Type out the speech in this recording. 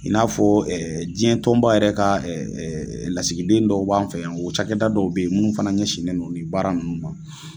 In n'a fɔ diɲɛ tɔnba yɛrɛ ka lasigiden dɔw b'an fɛ yan o cakɛ da dɔw bɛ yen minnu fana ɲɛsinnen don nin baarakɛda ninnu ma.